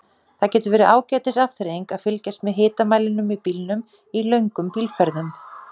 Það getur verið ágætis afþreying að fylgjast með hitamælinum í bílnum í löngum bílferðum.